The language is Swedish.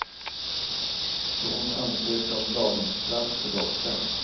Så hon ansökte om daghemsplats för dottern.